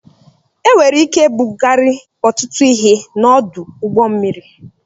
Enwere ike ibugari ọtụtụ ihe n'ọdụ ụgbọ mmiri